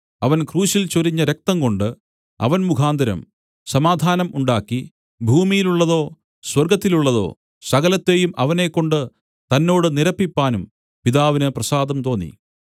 അവൻ ക്രൂശിൽ ചൊരിഞ്ഞ രക്തംകൊണ്ട് അവൻ മുഖാന്തരം സമാധാനം ഉണ്ടാക്കി ഭൂമിയിലുള്ളതോ സ്വർഗ്ഗത്തിലുള്ളതോ സകലത്തെയും അവനെക്കൊണ്ട് തന്നോട് നിരപ്പിപ്പാനും പിതാവിന് പ്രസാദം തോന്നി